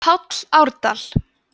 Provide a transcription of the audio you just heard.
páll árdal